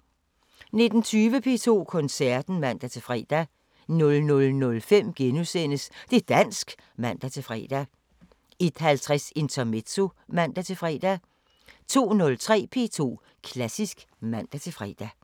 19:20: P2 Koncerten (man-fre) 00:05: Det´ dansk *(man-fre) 01:50: Intermezzo (man-fre) 02:03: P2 Klassisk (man-fre)